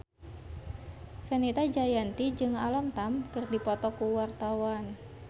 Fenita Jayanti jeung Alam Tam keur dipoto ku wartawan